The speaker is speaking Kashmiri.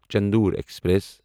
چندور ایکسپریس